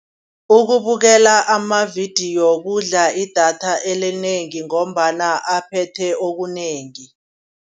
Ukubukela amavidiyo kudla idatha elinengi ngombana aphethe okunengi.